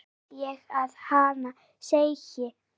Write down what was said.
heyrði ég að hana segja.